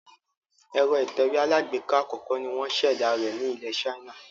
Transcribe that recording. Èro ìtẹ̀wé alágbèká àkókó ni wón sèdá rẹ̀ ni ilè China